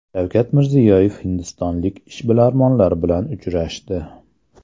Shavkat Mirziyoyev hindistonlik ishbilarmonlar bilan uchrashdi.